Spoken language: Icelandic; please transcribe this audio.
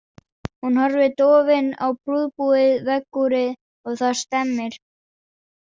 Hún horfir dofin á prúðbúið veggúrið og það stemmir.